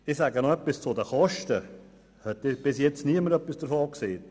Ich sage noch etwas zu den Kosten, die bisher niemand erwähnt hat.